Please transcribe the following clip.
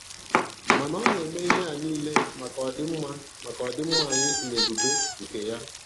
Mana Ọ na-eme ihe a niile maka ọdịmma maka ọdịmma anyị na ebube nke Ya.